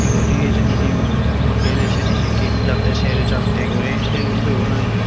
igun hi hijeni he moddedi syeni hi tin jattey ser jattey guri se iyo gun i.